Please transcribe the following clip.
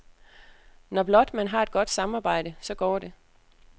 Når blot man har et godt samarbejde, så går det.